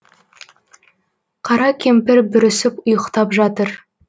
қара кемпір бүрісіп ұйықтап жатыр